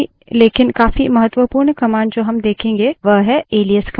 आखिरी लेकिन काफी महत्वपूर्ण command जो हम देखेंगे वह है एलाइस command